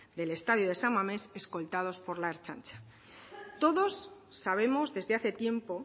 del estadio de san mamés escoltados por la ertzaintza todos sabemos desde hace tiempo